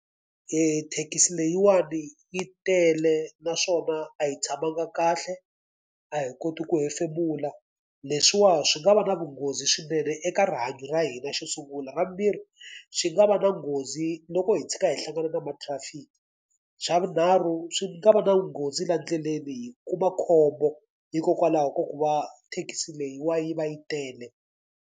Thekisi leyiwani yi tele naswona a hi tshamanga kahle, a hi koti ku hefemula. Leswiwani swi nga va na vunghozi swinene eka rihanyo ra hina xo sungula. Xa vumbirhi swi nga va na nghozi loko hi tshika hi hlangana na ma-traffic. Xa vunharhu swi nga va na nghozi laha ndleleni hi kuma khombo hikokwalaho ka ku va thekisi leyiwa yi va yi tele.